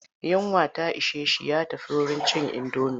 Yunwa ta ishe shi ya tafi wurin cin indomi.